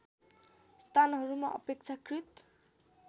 स्थानहरूमा अपेक्षाकृत